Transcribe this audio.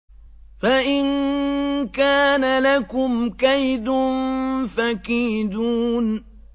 فَإِن كَانَ لَكُمْ كَيْدٌ فَكِيدُونِ